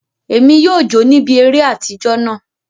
Emi yóò jo níbi eré atijọ náà.